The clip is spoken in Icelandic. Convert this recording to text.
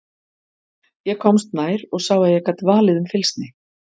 Ég komst nær og sá að ég gat valið um fylgsni.